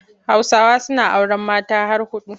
Hausawa suna auren mata har huɗu.